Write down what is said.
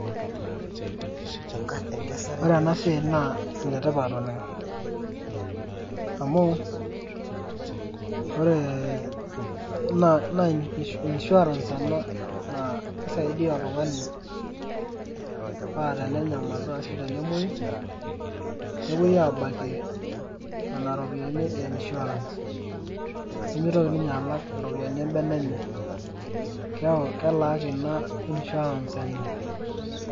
Ore ena esiai naa enetipat oleng'. Amu, ore naa insurance ena na kisaidia oltung'ani pa tenenyamalu ashu tenemoyu, nepoi abakie nena ropiyaiani e insurance. Nimitoki ninye alak iropiyiani ebene enye. Keeku kelaaki ina insurance enye.